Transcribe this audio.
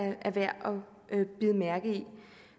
bide mærke i